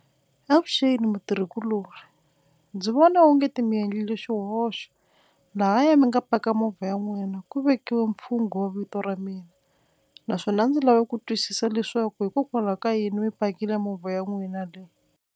Avuxeni mutirhikulori ndzi vona o nge ti mi endlile xihoxo lahaya mi nga paka movha ya n'wina ku vekiwa mfungho wo vito ra mina naswona a ndzi lave ku twisisa leswaku hikokwalaho ka yini mi pakile movha ya n'wina leyi.